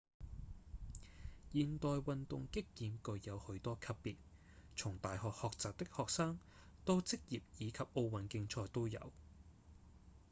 現代運動擊劍具有許多級別從大學學習的學生到職業以及奧運競賽都有